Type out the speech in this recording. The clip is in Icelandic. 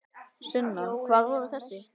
Sunna: Hvar voru þessir?